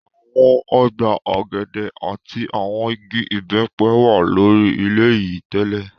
Awọn ọgba ogede ati awọn igi ibẹpẹ wa lori ilẹ yii tẹlẹ